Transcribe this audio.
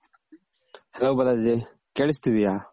hello Balaji ಕೇಳುಸ್ತಿದೆಯ